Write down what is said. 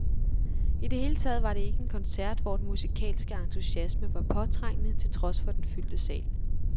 I det hele taget var det ikke en koncert, hvor den musikalske entusiasme var påtrængende, til trods for den fyldte sal.